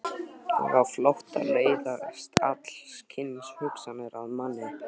Og á flótta læðast alls kyns hugsanir að manni.